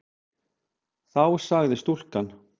Þá sagði stúlkan